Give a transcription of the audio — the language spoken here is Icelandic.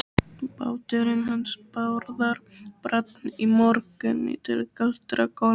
Báturinn hans Bárðar brann í morgun til kaldra kola.